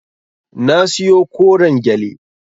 Na siyo koren gyale.